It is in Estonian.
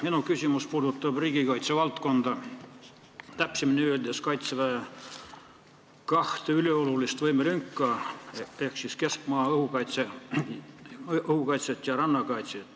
Minu küsimus puudutab riigikaitse valdkonda, täpsemalt kaitseväe kahte üliolulist võimelünka ehk siis keskmaa-õhukaitset ja rannakaitset.